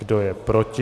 Kdo je proti?